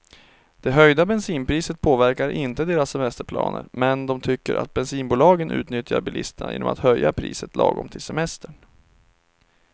Det höjda bensinpriset påverkar inte deras semesterplaner, men de tycker att bensinbolagen utnyttjar bilisterna genom att höja priset lagom till semestern.